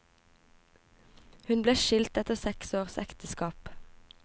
Hun ble skilt etter seks års ekteskap.